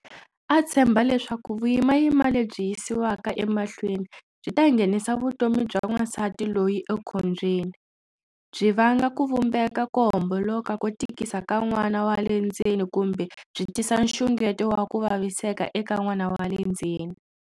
A tshemba leswaku vuyimana lebyi yisiwaka emahlweni byi ta nghenisa vutomi bya wansati loyi ekhombyeni, byi vanga ku vumbeka ko homboloka ko tikisa ka n'wana wa le ndzeni kumbe byi tisa nxungeto wa ku vaviseka eka n'wana wa le ndzeni.